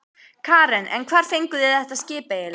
Karen: En hvar fenguð þið þetta skip eiginlega?